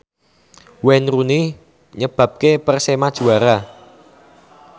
Wayne Rooney nyebabke Persema juara